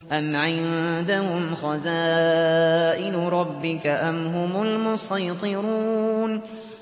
أَمْ عِندَهُمْ خَزَائِنُ رَبِّكَ أَمْ هُمُ الْمُصَيْطِرُونَ